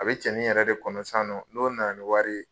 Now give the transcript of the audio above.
A bɛ cɛnin yɛrɛ de kɔnɔ sisan nɔ n'o na na ni wari ye.